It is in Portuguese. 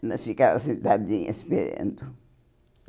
Ela ficava sentadinha esperando. E